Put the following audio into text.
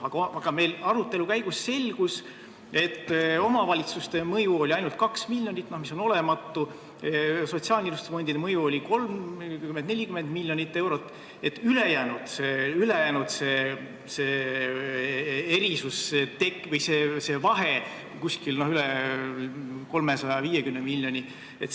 Aga arutelu käigus selgus, et omavalitsuste mõju oli ainult 2 miljonit, mis on olematu, sotsiaalkindlustusfondide mõju oli 30–40 miljonit eurot ja ülejäänud vahe üle 350.